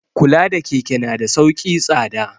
Kula da keke na da sauki tsada.